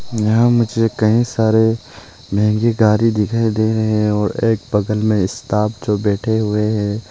यहां मुझे कई सारे महंगी गाड़ी दिखाई दे रहे हैं और एक बगल में स्टाफ जो बैठे हुए हैं।